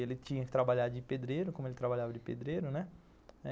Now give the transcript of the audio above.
Ele tinha que trabalhar de pedreiro, como ele trabalhava de pedreiro, né?